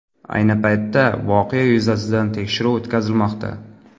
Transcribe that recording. Ayni paytda voqea yuzasidan tekshiruv o‘tkazilmoqda.